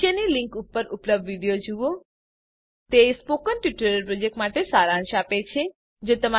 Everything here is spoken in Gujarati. નીચેની લીંક પર ઉપલબ્ધ વિડીયો જુઓ તે સ્પોકન ટ્યુટોરીયલ પ્રોજેક્ટ માટે સારાંશ આપે છે